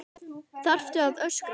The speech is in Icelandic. ÞARFTU AÐ ÖSKRA